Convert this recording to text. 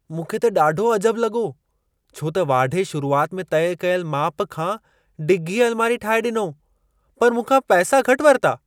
मूंखे त ॾाढो अजबु लॻो, छो त वाढे शुरुआति में तइ कयलु माप खां डिघी अल्मारी ठाहे ॾिनो, पर मूंखा पैसा घटि वरिता।